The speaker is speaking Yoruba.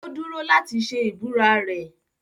Ó dúró láti ṣe ìbúra rẹ̀.